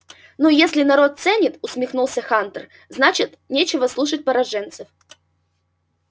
ну если народ ценит усмехнулся хантер значит нечего слушать пораженцев